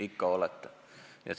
Ikka on!